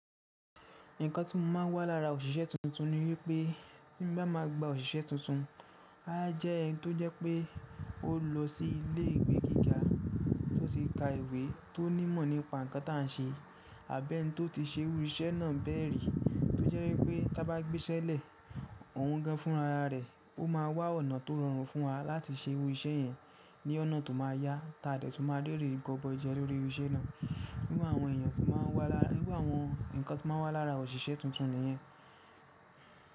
Nǹkan tí mò máa ń wá lára òṣìṣẹ́ tuntun ni wípé tí n bá máa gba òṣìṣẹ́ tuntun, a á jẹ́ ẹni tó jẹ́ pé ó lọ sí ilé ìwé gíga tó ti ka ìwé tó ní ìmọ̀ nípa nǹkan tá a ń ṣe. Àbí ẹni tó ti ṣe irú iṣẹ́ náà bẹ́ẹ̀ rí, tó jẹ́ wípé tí a bá gbéṣẹ́lẹ̀ òun gan fún ara rẹ̀, ó máa wá ọ̀nà tó rọrùn fún wa láti ṣe irú iṣẹ́ yẹn ní ọ̀nà tó máa yá ta a dẹ̀ tún máa rí eré gọbọi jẹ lórí irú iṣẹ́ náà. Wíwọ àwọn èèyàn tí máa ń wá lára irú àwọn nǹkan tí máa ń wá lára òṣìṣẹ́ tuntun nìyẹn.